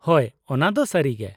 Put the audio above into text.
ᱦᱳᱭ, ᱚᱱᱟᱫᱚ ᱥᱟᱹᱨᱤ ᱜᱮ ᱾